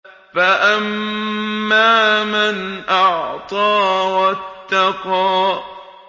فَأَمَّا مَنْ أَعْطَىٰ وَاتَّقَىٰ